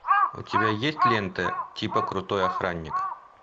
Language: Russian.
у тебя есть лента типа крутой охранник